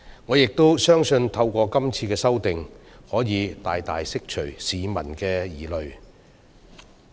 我亦相信，是次修訂可以大大釋除市民的疑慮。